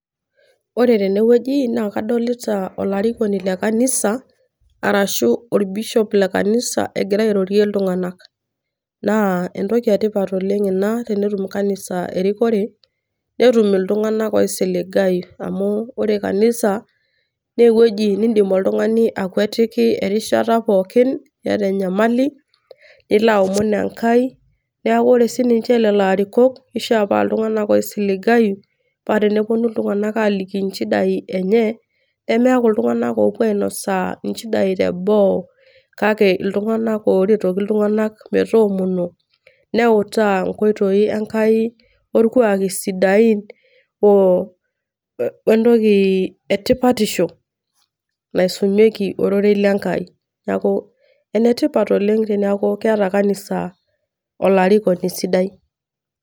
Ore tenewueji, na kadolita olarikoni lekanisa, arashu orbishop lekanisa egira airorie iltung'anak. Naa entoki etipat oleng ena, tenetum kanisa erikore, netum iltung'anak oisiligayu, amu ore kanisa, newueji niidim oltung'ani akuetiki erishata pookin iyata enyamali, nilo aomon Enkai, neeku ore sininche lelo arikok, kishaa paa iltung'anak oisiligayu, pa teneponu iltung'anak aliki inchidai enye, nemeeku iltung'anak opuo ainosaa inchidai teboo. Kake iltung'anak oretoki iltung'anak metoomono, neutaa nkoitoi Enkai, orkuaki sidain, wentoki etipatisho, naisumieki ororei le Enkai. Neeku enetipat oleng teneeku keeta kanisa olarikoni sidai.